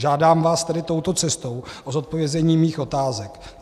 Žádám vás tedy touto cestou o zodpovězení svých otázek: